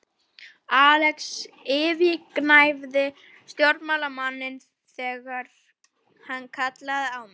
Axel yfirgnæfir stjórnmálamanninn þegar hann kallar á mig.